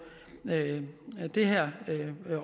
det her